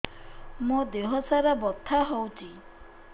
ମୋ ଦିହସାରା ବଥା ହଉଚି